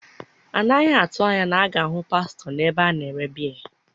A naghị atụ anya na a ga-ahụ pastọ n’ebe a na-ere biya